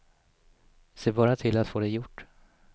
Se bara till att få det gjort.